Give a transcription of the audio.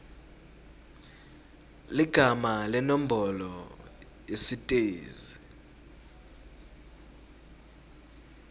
ligama nenombolo yesitezi